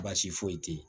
Baasi foyi tɛ yen